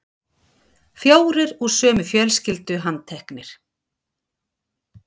Fjórir úr sömu fjölskyldu handteknir